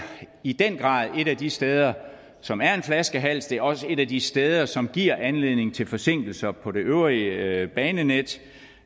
i den grad et af de steder som er en flaskehals det er også et af de steder som giver anledning til forsinkelser på det øvrige banenet